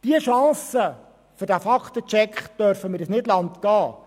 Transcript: Diese Chance für diesen Fakten-Check dürfen wir uns nicht entgehen lassen.